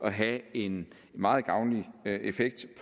at have en meget gavnlig effekt